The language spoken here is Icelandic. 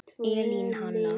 Elín Hanna.